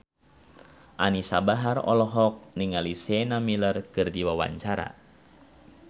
Anisa Bahar olohok ningali Sienna Miller keur diwawancara